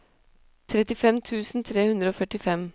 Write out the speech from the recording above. trettifem tusen tre hundre og førtifem